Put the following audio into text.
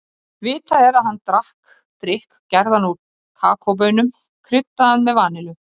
Smám saman fikruðu mammútarnir sig norður um Evrópu og Evrasíu og greindust í nokkrar tegundir.